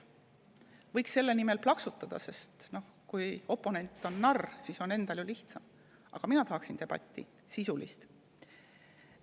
Võiks selle peale plaksutada, sest kui oponent on narr, siis on endal ju lihtsam, aga mina tahaksin debatti, sisulist debatti.